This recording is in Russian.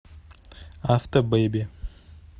автобеби